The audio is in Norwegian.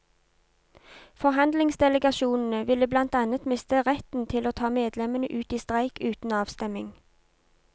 Forhandlingsdelegasjonene ville blant annet miste retten til å ta medlemmene ut i streik uten avstemning.